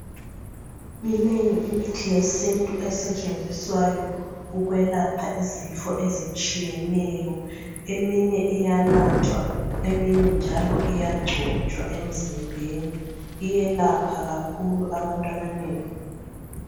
Minengi imithi yesintu esetshenziswayo ukwelapha izifo ezitshiyeneyo eminye iyanathwa eminye njalo iyagcotshwa emzimbeni iyelapha kakhulu abantu abanengi.